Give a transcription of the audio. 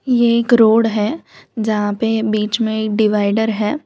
ये एक रोड है जहां पे बीच में एक डिवाइडर है।